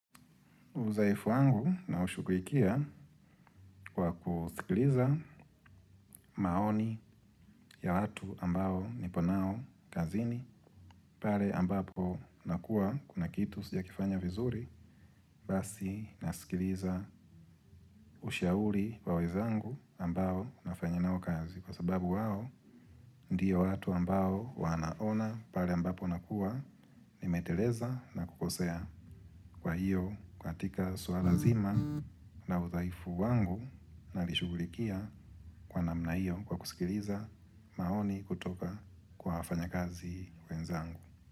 Uzoefu wangu naushughulikia kwa kusikiliza maoni ya watu ambao nipo nao kazini. Pare ambapo nakuwa kuna kitu sijakifanya vizuri basi nasikiliza ushauri wa wezangu ambao nafanya nao kazi. Kwa sababu wao ndiyo watu ambao wanaona pare ambapo nakuwa nimeteleza na kukosea kwa hiyo katika suara zima. Na udhaifu wangu nalishughulikia kwa namna hiyo kwa kusikiliza maoni kutoka kwa wafanyakazi wenzangu.